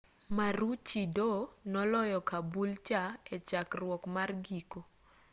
maroochydore noloyo caboolture echakruok mar giko